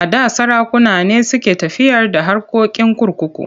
A da sarakuna ne suke tafiyar da harkokin kurkuku.